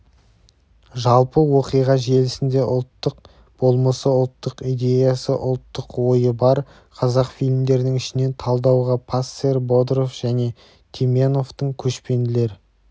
жалпы оқиға желісінде ұлттық болмысы ұлттық идеясы ұлттық ойы бар қазақ фильмдерінің ішінен талдауға пассер бодров және теменовтің көшпенділер